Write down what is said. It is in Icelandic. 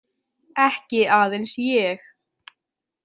Ekki aðeins ég.